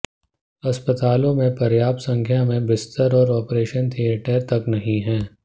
अस्पतालों में पर्याप्त संख्या में बिस्तर और ऑपरेशन थियेटर तक नहीं हैं